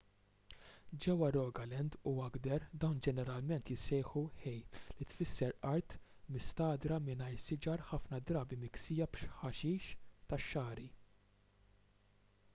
ġewwa rogaland u agder dawn ġeneralment jissejħu hei li tfisser art mistagħdra mingħajr siġar ħafna drabi miksija b'ħaxix tax-xagħri